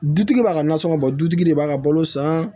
Dutigi b'a ka nasɔngɔ bɔ dutigi de b'a ka balo san